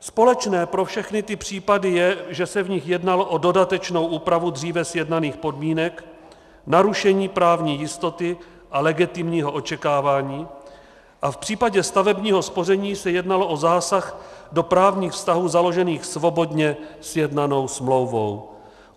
Společné pro všechny ty případy je, že se v nich jednalo o dodatečnou úpravu dříve sjednaných podmínek, narušení právní jistoty a legitimního očekávání a v případě stavebního spoření se jednalo o zásah do právních vztahů založených svobodně sjednanou smlouvou.